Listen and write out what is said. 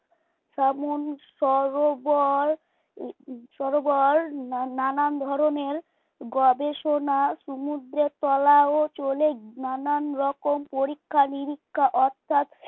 সমন সরোবর সরোবর নানান ধরনের গবেষণা সমুদ্রের তলায়ও চলে নানান রকম পরীক্ষা-নিরীক্ষা অর্থাৎ